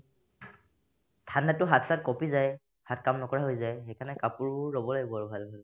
ঠাণ্ডাতো হাত-চাত কঁপি যাই হাত কাম নকৰা হৈ যাই সেইকাৰণে কাপোৰবোৰ ল'ব লাগিব আৰু ভাল ভাল